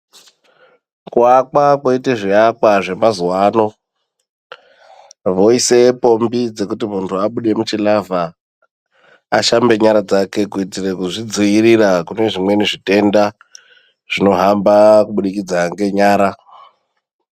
Kuvakwa kweitwa zvivakwa zvemazuva ano, voise pombi dzekuti muntu abude muchilavha ashambe nyara dzake. Kuitire kuzvidzivirira kune zvimweni zvitenda zvinohamba kubudikidza ngenyara.